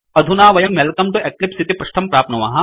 अधुना वयं welcome to eclipse इति पृष्टं प्राप्नुमः